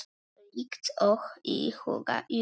Líkt og í huga Júlíu.